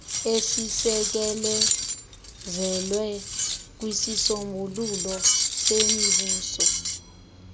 esisekelezelwe kwisisombululo semibuso